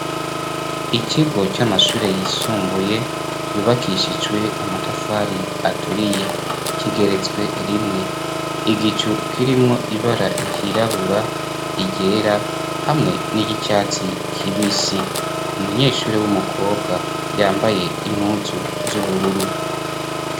Ikigo c'amashure yisumbuye yubakishiswe amatafari aturiye kigeretswe rimwe ,igicu kirimwo ibara ryirabura, iryera hamwe n'iryicatsi k'ibisi, umunyeshure w'umukobwa yambaye impuzu z'ubururu.